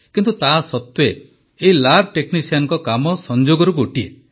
କିନ୍ତୁ ତା ସତ୍ତ୍ୱେ ଏହି ଲ୍ୟାବ୍ ଟେକ୍ନିସିଆନଙ୍କ କାମ ସଂଯୋଗରୁ ଗୋଟିଏ